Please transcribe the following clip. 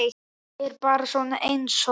Ég er bara svona einsog.